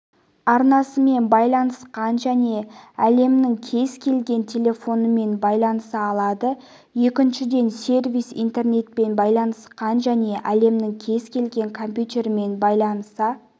арнасымен байланысқан және әлемнің кез келген телефонымен байланыса алады екіншіден сервер интернетпен байланысқан және әлемнің кез келген компьютерімен байланыса